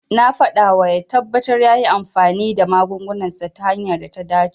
Na faɗawa ya tabbata yayi amfani da magungunansa ta hanyar da ta dace.